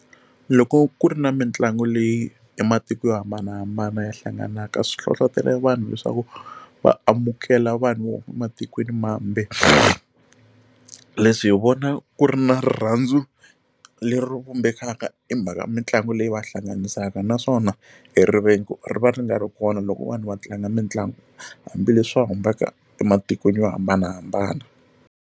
Loko ku ri na mitlangu leyi ematiko yo hambanahambana ya hlanganaka swi hlohlotelo vanhu leswaku va amukela vanhu va ematikweni mambe leswi hi vona ku ri na rirhandzu leri vumbekaka hi mhaka i mhaka mitlangu leyi va hlanganisaka naswona e rivengo ri va ri nga ri kona loko vanhu va tlanga mitlangu hambileswi va ematikweni yo hambanahambana.